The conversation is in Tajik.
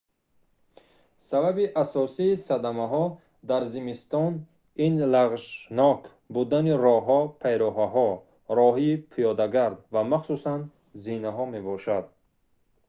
сабаби асосии садамаҳо дар зимистон ин лағжшнок будани роҳҳо пайраҳаҳо роҳҳои пиёдагард ва махсусан зинаҳо мебошад